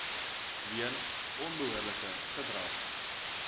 weens onbehoorlike gedrag